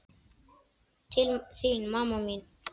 Til þín, mamma mín.